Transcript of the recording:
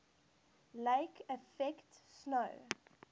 lake effect snow